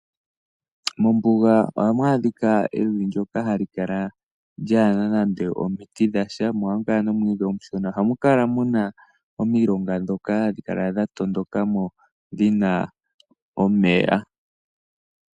Mombuga ohamu adhika evi ndyoka hali kala lyaa na nando omiti dha sha, mo ohamu kala mu na omwiidhi omushona. Ohamu kala mu na omilonga ndhoka hadhi kala dha tondoka mo dhi na omeya.